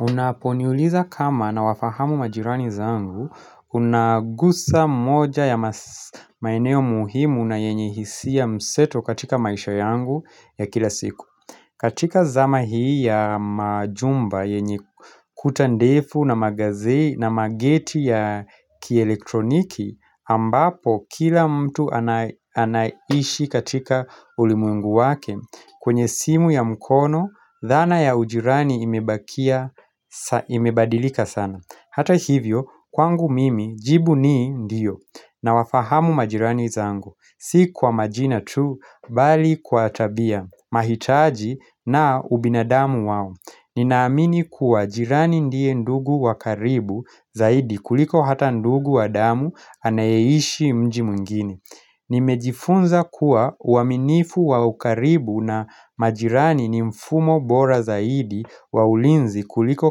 Unaponiuliza kama nawafahamu majirani zangu unagusa moja ya maeneo muhimu na yenye hisia mseto katika maisha yangu ya kila siku katika zama hii ya majumba yenye kuta ndefu na mangazi na mageti ya kielektroniki ambapo kila mtu anaishi katika ulimwengu wake kwenye simu ya mkono, dhana ya ujirani imebadilika sana. Hata hivyo, kwangu mimi, jibu ni ndio Nawafahamu majirani zangu Si kwa majina tu, bali kwa tabia, mahitaji na ubinadamu wao. Ninaamini kuwa jirani ndiye ndugu wa karibu Zaidi kuliko ata ndugu wa damu anayeishi mji mwingine Nimejifunza kuwa uaminifu wa ukaribu na majirani ni mfumo bora zaidi wa ulinzi kuliko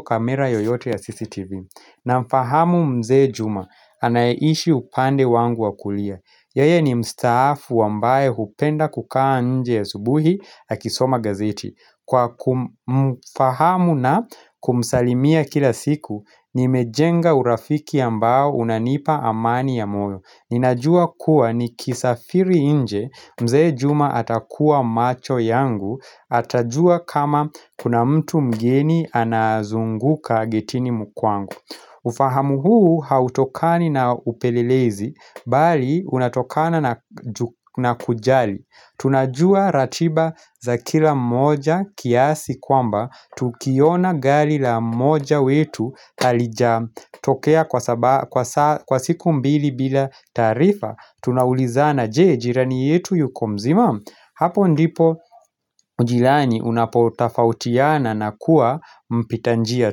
kamera yoyote ya CCTV Namfahamu mzee juma, anayeishi upande wangu wa kulia. Yeye ni mstaafu ambaye hupenda kukaa nje asubuhi akisoma gazeti. Kwa kumfahamu na kumsalimia kila siku, nimejenga urafiki ambao unanipa amani ya moyo. Ninajua kuwa nikisafiri nje mzee juma atakuwa macho yangu Atajua kama kuna mtu mgeni anazunguka getini kwangu ufahamu huu hautokani na upelelezi Bali unatokana na kujali. Tunajua ratiba za kila moja kiasi kwamba Tukiona gali la moja wetu halija tokea kwa siku mbili bila taarifa Tunaulizana je, jirani yetu yuko mzima? Hapo ndipo ujirani unapotafautiana na kuwa mpita njia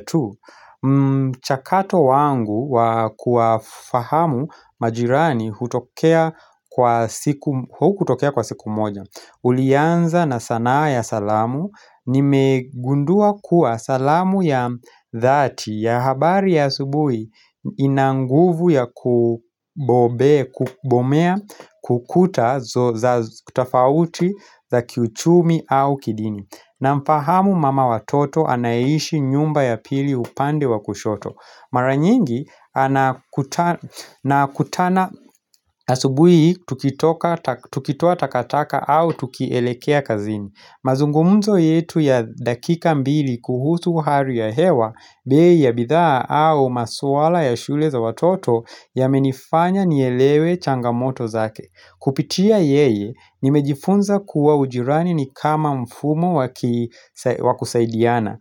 tu Chakato wangu wa kuwafahamu majirani hukutokea kwa siku moja Ulianza na sanaa ya salamu. Nimegundua kuwa salamu ya dhati ya habari ya subuhi ina nguvu ya kubomea kuta za tofauti za kiuchumi au kidini. Namfahamu mama watoto anayeishi nyumba ya pili upande wa kushoto. Maranyingi nakutana asubuhi tukitoa takataka au tukielekea kazini. Mazungumzo yetu ya dakika mbili kuhusu hali ya hewa bei ya bidhaa au maswala ya shule za watoto yamenifanya nielewe changamoto zake. Kupitia yeye nimejifunza kuwa ujirani ni kama mfumo wakusaidiana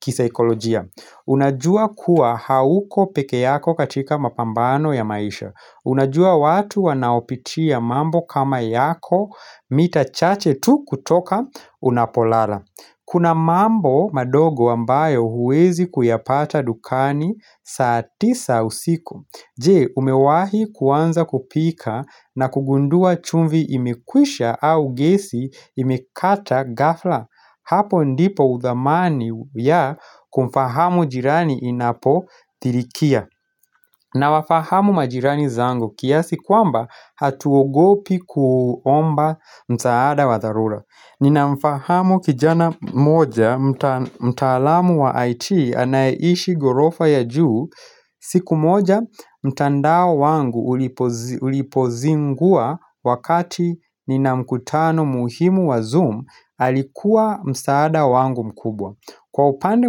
kisaikolojia Unajua kuwa hauko peke yako katika mapambano ya maisha Unajua watu wanaopitia mambo kama yako mita chache tu kutoka unapolala Kuna mambo mandogo ambayo huwezi kuyapata dukani saa tisa usiku. Je umewahi kuanza kupika na kugundua chumvi imekwisha au gesi imekata ghafla Hapo ndipo udhamani ya kumfahamu jirani inapo tilikia Nawafahamu majirani zangu kiasi kwamba hatuogopi kuomba msaada wa dharura. Ninamfahamu kijana moja mtaalamu wa IT anayeishi ghorofa ya juu siku moja mtandao wangu ulipozingua wakati nina mkutano muhimu wa zoom Alikuwa msaada wangu mkubwa. Kwa upande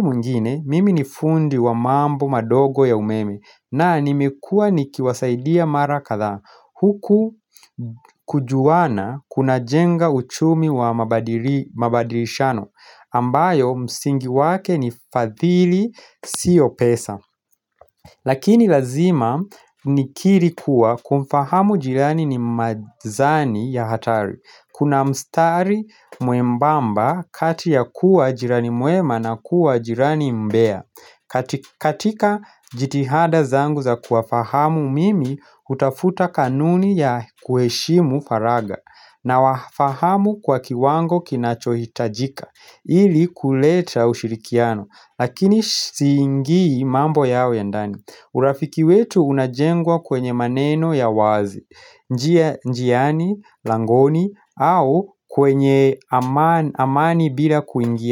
mwingine, mimi ni fundi wa mambo mandogo ya umeme, na nimekua nikiwasaidia mara kathaa Huku kujuana kuna jenga uchumi wa mabadilishano ambayo msingi wake ni fadhili sio pesa Lakini lazima nikiri kuwa kumfahamu jirani ni mazani ya hatari Kuna mstari mwembamba kati ya kuwa jirani mwema na kuwa jirani mbea katika jitihada zangu za kuwafahamu mimi hutafuta kanuni ya kuheshimu faragha Nawafahamu kwa kiwango kinachohitajika ili kuleta ushirikiano Lakini siingii mambo yao ya ndani urafiki wetu unajengwa kwenye maneno ya wazi, njiani, langoni au kwenye amani bila kuingia.